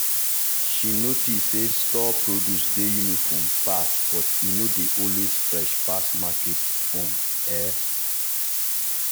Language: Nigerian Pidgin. she notice say store produce dey uniform pass but e no dey always fresh pass market own. um